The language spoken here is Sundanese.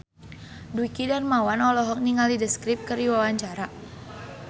Dwiki Darmawan olohok ningali The Script keur diwawancara